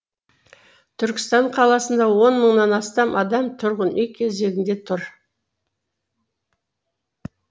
түркістан қаласында он мыңнан астам адам тұрғын үй кезегінде тұр